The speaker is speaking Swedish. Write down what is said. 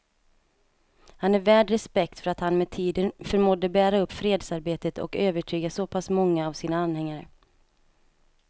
Han är värd respekt för att han med tiden förmådde bära upp fredsarbetet och övertyga så pass många av sina anhängare.